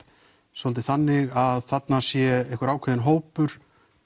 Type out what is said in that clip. svolítið þannig að þarna sé einhver ákveðinn hópur